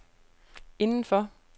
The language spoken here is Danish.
indenfor